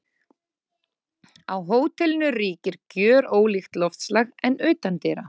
Á hótelinu ríkir gjörólíkt loftslag en utandyra.